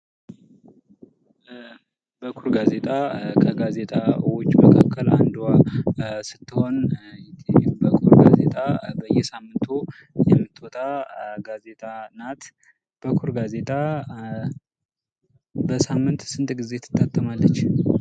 በኩር ጋዜጣ ከጋዜጣዎች መካከል አንዷ ስትሆን በኩር ጋዜጣ በየሳምንቱ የምትወጣትጋዜጣ ናት። በኩር ጋዜጣ በሳምንት ስንት ጊዜ ትታተማለች?